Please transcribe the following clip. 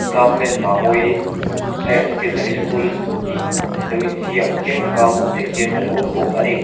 government Mamawii higher secondary school tih lo inziak chiang tak a hmuh theih hian alo awm bawk a ni.